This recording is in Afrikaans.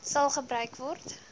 sal gebruik word